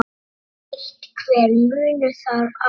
Er einhver munur þar á?